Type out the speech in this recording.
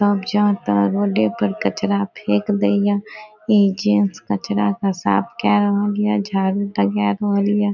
सब जहाँ तहां रोडे पे कचरा फेक दे हिय ई जेंट्स कचरा के साफ कै रहलिय झाड़ू लगा रहलिय।